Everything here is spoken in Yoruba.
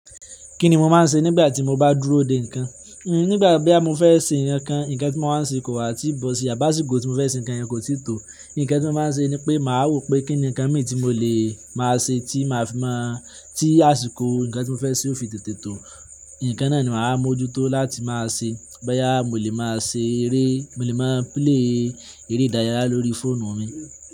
Kí ni mo máa ń ṣe nígbà tí mo bá dúró dè nǹkan? Nígbà bóyá mo fẹ́ ṣe nǹkan kan, nǹkan tí mo wá ń ṣe kò wà tí bọ̀ ṣi, àbá. Sí kó tí mo fẹ́ ṣe nǹkan yẹn kò tíì tó, nǹkan tí mo máa ń ṣe ni pé màá wò pé kí ni nǹkan míì tí mo lè máa ṣe tí màá fi mọ̀, tí àsìkò nǹkan tí mo fẹ́ ṣe ó fi tètè tó. Nǹkan náà ni màá mójútó láti máa ṣe. Bóyá mo lè máa ṣe eré, mo lè máa play eré ìdárayá lórí fóònù mi.